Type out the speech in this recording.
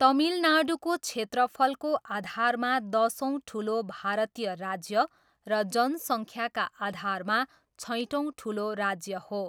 तमिलनाडुको क्षेत्रफलको आधारमा दसौँ ठुलो भारतीय राज्य र जनसङ्ख्याका आधारमा छैटौँ ठुलो राज्य हो।